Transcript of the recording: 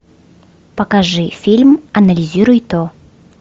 покажи фильм анализируй то